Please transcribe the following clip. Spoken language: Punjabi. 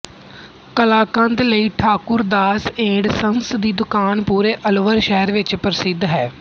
ਕਲਾਕੰਦ ਲਈ ਠਾਕੁਰ ਦਾਸ ਏੰਡ ਸੰਸ ਦੀ ਦੁਕਾਨ ਪੂਰੇ ਅਲਵਰ ਸ਼ਹਿਰ ਵਿੱਚ ਪ੍ਰਸਿੱਧ ਹੈ